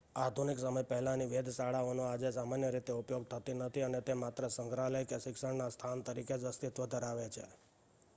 આધુનિક સમય પહેલાંની વેધશાળાઓનો આજે સામાન્ય રીતે ઉપયોગ થતો નથી અને તે માત્ર સંગ્રહાલય કે શિક્ષણના સ્થાન તરીકે જ અસ્તિત્વ ધરાવે છે